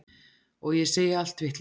Og ég segi allt vitlaust.